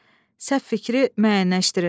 Səhv fikri müəyyənləşdirin.